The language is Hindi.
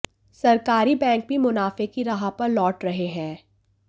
सरकारी बैंक भी मुनाफे की राह पर लौट रहे हैं